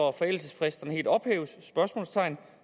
at forældelsesfristerne helt ophæves